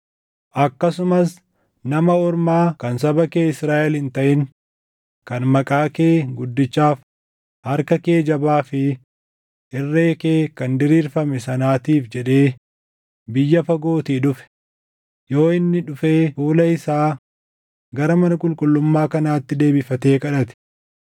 “Akkasumas nama ormaa kan saba kee Israaʼel hin taʼin kan maqaa kee guddichaaf, harka kee jabaa fi irree kee kan diriirfame sanaatiif jedhee biyya fagootii dhufe, yoo inni dhufee fuula isaa gara mana qulqullummaa kanaatti deebifatee kadhate,